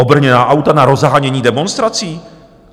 Obrněná auta na rozhánění demonstrací?